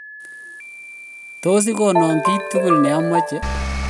tos igono kiy tugul ne amache